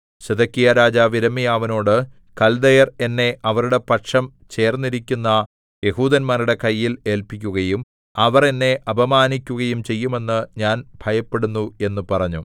സിദെക്കീയാരാജാവ് യിരെമ്യാവിനോട് കൽദയർ എന്നെ അവരുടെ പക്ഷം ചേർന്നിരിക്കുന്ന യെഹൂദന്മാരുടെ കയ്യിൽ ഏല്പിക്കുകയും അവർ എന്നെ അപമാനിക്കുകയും ചെയ്യുമെന്ന് ഞാൻ ഭയപ്പെടുന്നു എന്ന് പറഞ്ഞു